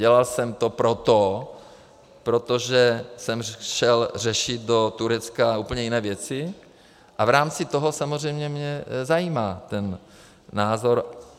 Dělal jsem to proto, protože jsem šel řešit do Turecka úplně jiné věci, a v rámci toho samozřejmě mě zajímá ten názor.